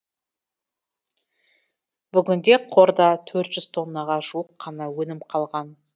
бүгінде қорда төрт жүз тоннаға жуық қана өнім қалған